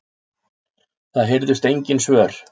Það heyrðust engin svör.